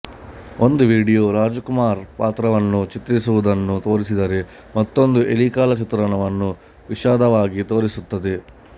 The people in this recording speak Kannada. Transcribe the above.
ಒಂದು ವಿಡಿಯೋ ರಾಜಕುಮಾರ ಪಾತ್ರವನ್ನು ಚಿತ್ರಿಸುವುದನ್ನು ತೋರಿಸಿದರೆ ಮತ್ತೊಂದು ಎಲಿಕಾಳ ಚಿತ್ರಣವನ್ನು ವಿಷದವಾಗಿ ತೋರಿಸುತ್ತದೆ